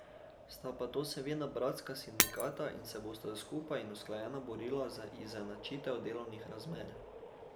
Sta pa to seveda bratska sindikata in se bosta skupaj in usklajeno borila za izenačitev delovnih razmer.